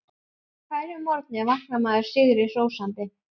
Á hverjum morgni vaknar maður sigri hrósandi.